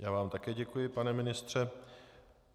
Já vám také děkuji, pane ministře.